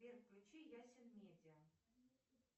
сбер включи ясен медиа